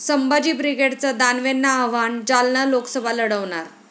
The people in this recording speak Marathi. संभाजी ब्रिगेडचं दानवेंना आव्हान, जालना लोकसभा लढवणार!